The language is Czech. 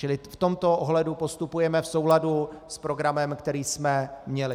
Čili v tomto ohledu postupujeme v souladu s programem, který jsme měli.